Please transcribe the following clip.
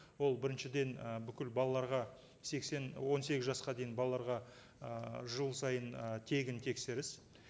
ол біріншіден ы бүкіл балаларға сексен он сегіз жасқа дейін балаларға ыыы жыл сайын ы тегін тексеріс